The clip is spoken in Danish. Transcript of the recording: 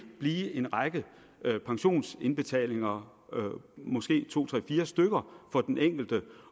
blive en række pensionsindbetalinger måske to tre fire for den enkelte